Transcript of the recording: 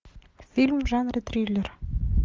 фильм в жанре триллер